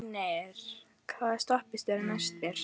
Fjölnir, hvaða stoppistöð er næst mér?